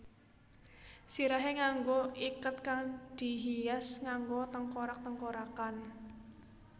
Sirahé nganggo iket kang dihias nganggo tengkorak tengkorakan